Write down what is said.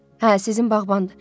Hə, sizin bağbandır.